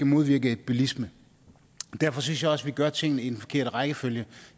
modvirke bilisme og derfor synes jeg også vi gør tingene i den forkerte rækkefølge